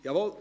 Jawohl.